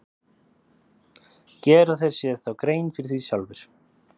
Gera þeir sér þá grein fyrir því sjálfir?